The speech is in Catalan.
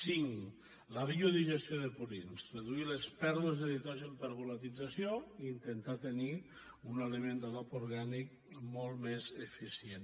cinc la biodigestió de purins reduir les pèrdues de nitrogen per volatilització i intentar tenir un element d’adob orgànic molt més eficient